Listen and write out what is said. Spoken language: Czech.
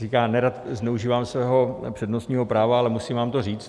Říká - nerad zneužívám svého přednostního práva, ale musím vám to říct...